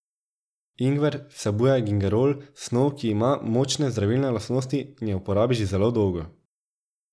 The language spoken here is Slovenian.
Ingver vsebuje gingerol, snov, ki ima močne zdravilne lastnosti in je v uporabi že zelo dolgo.